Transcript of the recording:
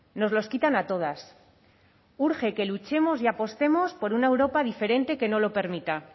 nos los quitan a todas urge que luchemos y apostemos por una europa diferente que no lo permita